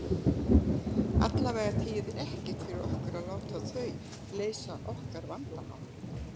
Allavega þýðir ekkert fyrir okkur að láta þau leysa okkar vandamál.